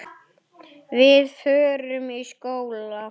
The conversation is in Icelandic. Við förum í skóla.